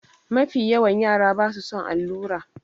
Mafiyawan yara ba su son allura.